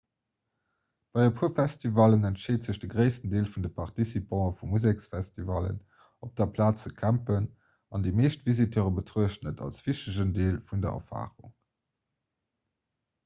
bei e puer festivallen entscheet sech de gréissten deel vun de participantë vu musekfestivallen op der plaz ze campen an déi meescht visiteure betruechten et als wichtegen deel vun der erfarung